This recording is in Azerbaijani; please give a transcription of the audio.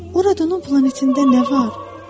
Oradan o planetində nə var?